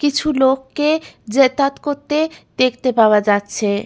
কিছু লোককে যাতায়াত করতে দেখতে পাওয়া যাচ্ছে।